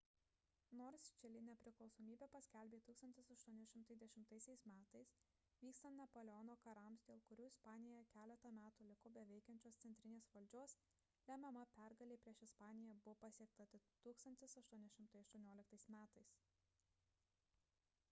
nors čilė nepriklausomybę paskelbė 1810 m. vykstant napoleono karams dėl kurių ispanija keletą metų liko be veikiančios centrinės valdžios lemiama pergalė prieš ispaniją buvo pasiekta tik 1818 m